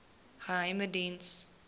geheimediens